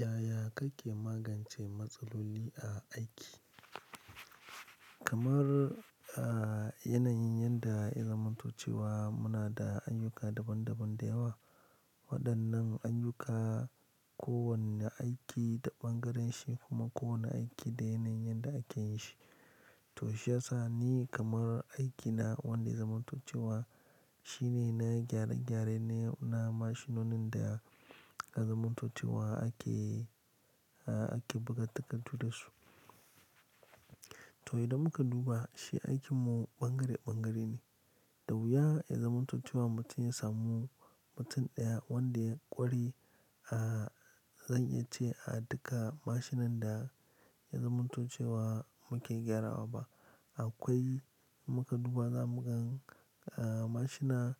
Yaya kake magance matsaloli a aiki? Kamar, a yana yin yadda ya zamantocewa muna da ayyuka daban-daban da yawa. Waɗannan ayyuka ko wani aiki da ɓangaren shi kuma kowani aiki da yanayin yanda a ke yin shi. To shi yasa ni kamar aikina wanda ya zamantocewa shine na gyare-gyare ne na mashinonin da ya zamantocewa ake, ake buga takardu dasu. To idan muka duba shi aikin mu ɓangare-ɓangare ne. Da wuya ya zamantocewa mutum ya samu mutum ɗaya wanda ya ƙware a, zan iya ce a duka mashinan da ya zamantocewa muke gyarawa ba. Akwai in muka duba zamu ga mashina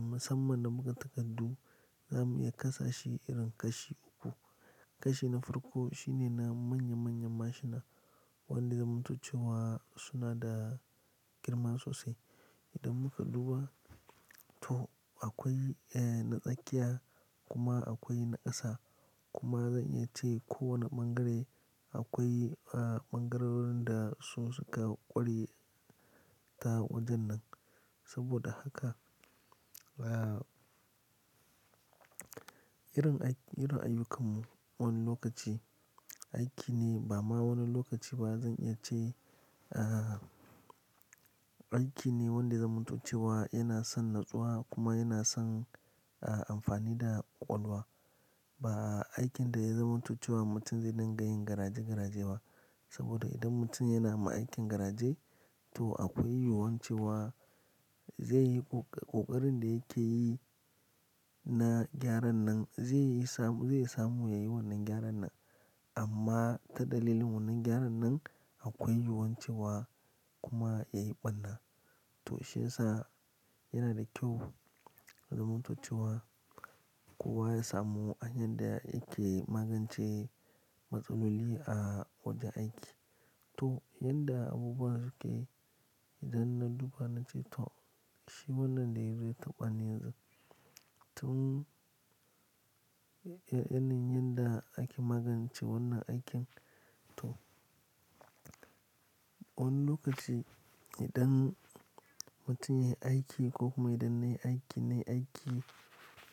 musamman da buga takardu, zamu iya kasa shi irin kashi uku. Kashi na farko shine na manya-manyan mashina wanda zamantocewa suna da girma sosai. Idan muka duba, to akwai, na tsakiya kuma akwai na ƙasa. Kuma zan iya ce kowane bangare akwai bangarorin da su suka ƙware ta wajen nan. Saboda haka, irin aiki, irin ayyukanmu wani lokaci aiki ne ba ma wani lokaci ba zan iya ce, a aiki ne wanda ya zamantocewa yana son nutsuwa kuma yana son amfani da ƙwaƙwalwa. Ba aikin da ya zamantocewa mutum zai dinga yin garaje-garaje ba. Saboda idan mutum yana ma aikin garaje to akwai yiwuwar cewa zai yi ƙoƙarin da yake yi na gyaran nan zai samu yayi wannan gyaran nan. Amma ta dalilin wannan gyaran nan akwai yiwuwar cewa kuma ya yi ɓarna. To shi ya sa yana da kyau zamantocewa kowa ya samu hanyar da yake magance matsaloli a wajen aiki. To yanda abubuwa suke idan na duba na ce to shi wannan dai me yazo ya taɓa ne yanzu tun, yana yin yanda ake magance wannan aikin. To wani lokaci idan mutum yayi aiki ko kuma idan nayi aiki nayi aiki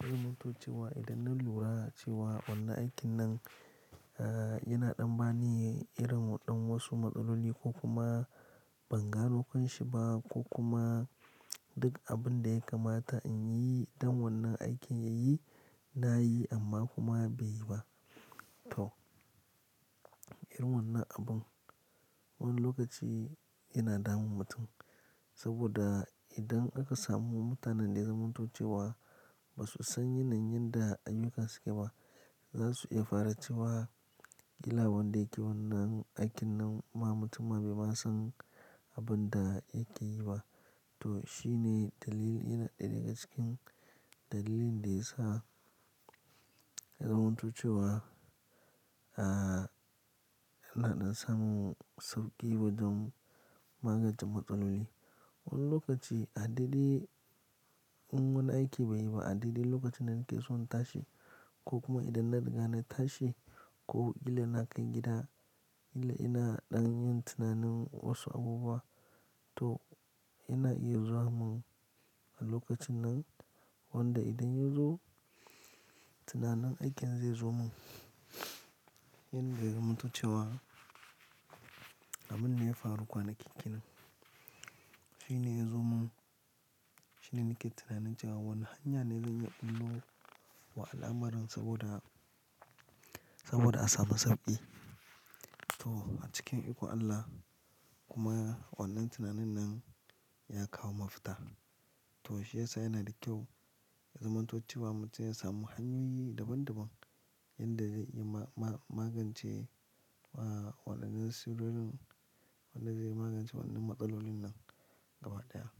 ya zamantocewa idan na lura cewa wannan aikin nan yana ɗan bani irin ɗan wasu matsaloli ko kuma ban gano kanshi ba ko kuma duk abun da ya kamata in yi idan wannan aikin yayi na yi amma kuma bai yi ba. To irin wannan abun wani lokaci yana damun mutum. Saboda idan aka samu mutanen da zamantocewa ba su san yanayin yanda ayyuka suke ba, za su iya fara cewa "ila wanda yake wannan aikin nan ma mutum ma bai ma san abun da yake yi ba." To shi ne dalili yana ɗaya daga cikin dalilin da ya sa ya zamantocewa, a yana ɗan samun sauƙi wajen magance matsaloli. Wani lokaci adaidai in wani aiki bai yi ba adaidai lokacin da nake son tashi ko kuma idan na riga na tashi ko illa na kai gida, illa ina ɗan yin tunanin wasu abubuwa to yana iya zuwa mun a lokacin nan. Wanda idan ya zo tunanin aikin zai zo mun. Yanda ya zamantocewa, abinda ya faru kwanaki kenan. Shi ne ya zo mun. Shi ne nake tunanin cewa wani hanya ne zan iya ɓullo wa al'amarin saboda, saboda a samu sauƙi. To a cikin ikon Allah kuma wannan tunanin nan ya kawo mafita. To shi ya sa yana da kyau ya zamantocewa mutum ya samu hanyoyi daban-daban yadda zai yi ma-ma-magance wa waɗannan sirrorin, wanda zai magance wannan matsalolin nan gaba ɗaya.